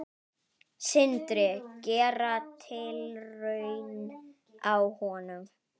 Sindri: Gera tilraun á honum?